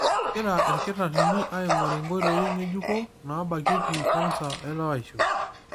Egira ilkitarrini aing'oru nkoitoi ng'ejuko naabakieki kansa elewaisho.